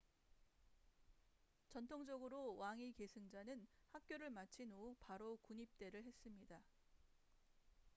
전통적으로 왕위 계승자는 학교를 마친 후 바로 군입대를 했습니다